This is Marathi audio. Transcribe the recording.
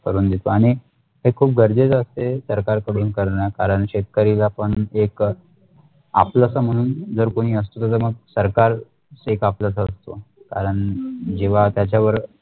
करून देतो आणि हे खुप गरजेचे असते सरकार कडून करणं कारण शेतकरीला पण ते एक आपलस म्हणून जर कोणी असल तर मग सरकारच एक आपलस असतो कारण जेव्हा त्याचा वर